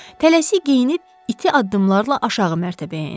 Tələsik geyinib iti addımlarla aşağı mərtəbəyə endi.